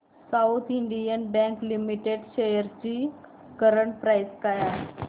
south Indian Bank Limited shares ची current price काय आहे